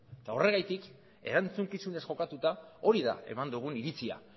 eta horregatik erantzukizunez jokatuta hori da eman dugun iritzia